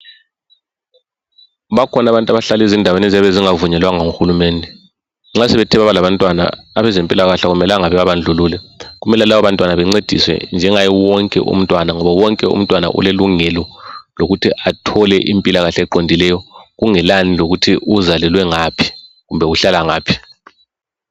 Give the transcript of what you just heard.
Bakhona abantu abahlala ezindaweni eziyabe zingavunyelwanga nguhulumende, nxa sebethe baba labantwana abezempilakahle akumelanga bebabandlulule kumele labo bantwana bancediswe njengaye wonke umntwana ngoba wonke umntwana ulelungelo lokuthi athole impilakahle eqondileyo kungelani lokuthi uzalelwe ngaphi kumbe uhlala ngaphi.